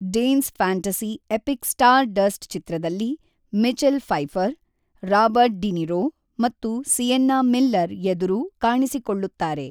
Danes fantasy epic Stardust ಚಿತ್ರದಲ್ಲಿ Michelle Pfeiffer, Robert De Niro ಮತ್ತು Sienna Miller ಎದುರು ಕಾಣಿಸಿಕೊಳ್ಳುತ್ತಾರೆ.